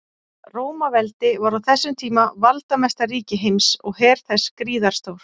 Rómaveldi var á þessum tíma valdamesta ríki heims og her þess gríðarstór.